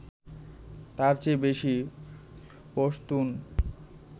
তাঁর চেয়ে বেশি পশতুন